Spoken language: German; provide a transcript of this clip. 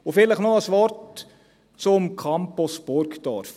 Vielleicht noch ein Wort zum Campus Burgdorf: